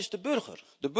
Dat is de burger.